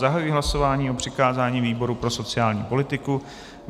Zahajuji hlasování o přikázání výboru pro sociální politiku.